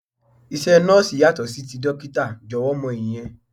Iṣẹ́ Nọ́ọ̀sì yàtọ̀ sí ti dókítà, jọ̀wọ́ mọ ìyẹn.